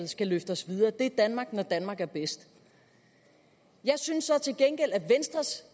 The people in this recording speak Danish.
skal løfte os videre det er danmark når danmark er bedst jeg synes så til gengæld at venstres